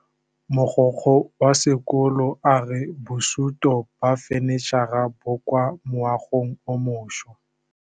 Mogokgo wa sekolo a re bosutô ba fanitšhara bo kwa moagong o mošwa.